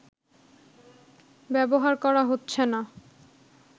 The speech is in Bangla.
ব্যবহার করা হচ্ছে না